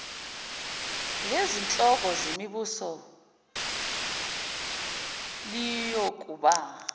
lezinhloko zemibuso liyokuba